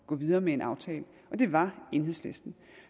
gå videre med en aftale og det var enhedslisten